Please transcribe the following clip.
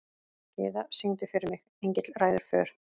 Gyða, syngdu fyrir mig „Engill ræður för“.